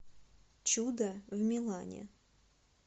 чудо в милане